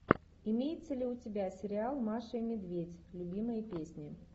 имеется ли у тебя сериал маша и медведь любимые песни